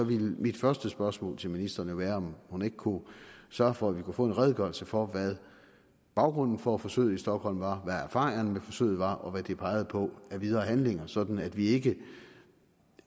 ville mit første spørgsmål til ministeren jo være om hun ikke kunne sørge for at vi kunne få en redegørelse for hvad baggrunden for forsøget i stockholm var hvad erfaringerne med forsøget var og hvad det pegede på af videre handlinger sådan at vi ikke